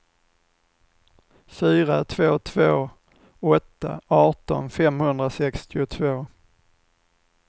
fyra två två åtta arton femhundrasextiotvå